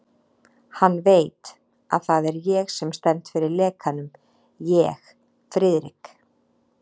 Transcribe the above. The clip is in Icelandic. Hann veit, að það er ég sem stend fyrir lekanum ég, Friðrik